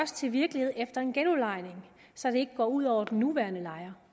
til virkelighed efter en genudlejning så det ikke går ud over den nuværende lejer